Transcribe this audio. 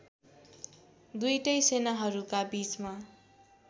दुईटै सेनाहरूका बीचमा